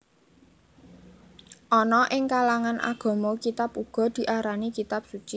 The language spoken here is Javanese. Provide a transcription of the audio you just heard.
Ana ing kalangan agama kitab uga diarani kitab suci